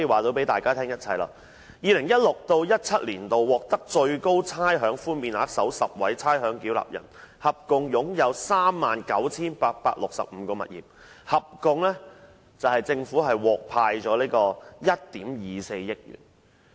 2016-2017 年度獲最高差餉寬免額的首10名差餉繳納人，合共擁有 39,865 個物業，獲政府退回的差餉合共1億 2,400 萬元。